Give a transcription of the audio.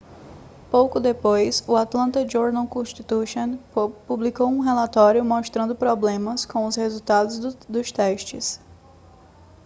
pouco depois o atlanta journal-constitution publicou um relatório mostrando problemas com os resultados dos testes